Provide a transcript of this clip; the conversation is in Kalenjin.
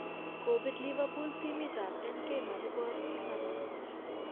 Kopir liverpool timit ap Nk makibor 7-0.